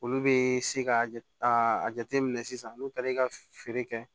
Olu bɛ se ka jate a jateminɛ sisan n'u taara i ka feere kɛ